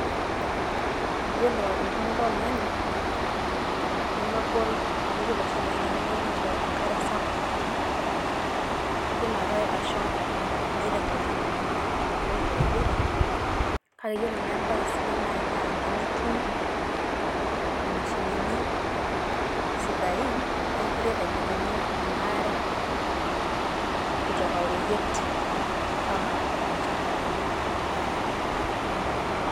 Iyiolo entumoto oo irnyanya nemegol amu iyiolo oshi irnyanya nemeyieu ninche enkare sapuk. Idim ake ashomo niirem olchamba lino tenkalo oreyiet. kake yiolo naa embae sidai nai naa tenitum imashinini sidai, naa ekiret ailepunyie ena are kutoka oreyiet mpaka olchamba lino.